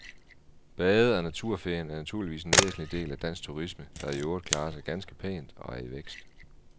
Bade- og naturferien er naturligvis en væsentlig del af dansk turisme, der i øvrigt klarer sig ganske pænt og er i vækst.